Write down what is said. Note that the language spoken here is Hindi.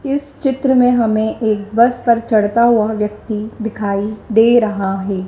इस चित्र में हमें एक बस पर चढ़ता हुआ व्यक्ति है।